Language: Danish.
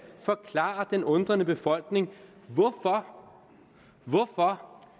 forklare den undrende befolkning hvorfor